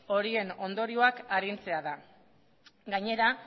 horien ondorioak arintzea da gainera